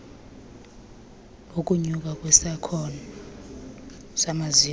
ukunyuka kwesakhono samaziko